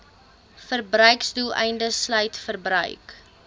verbruiksdoeleindes sluit verbruik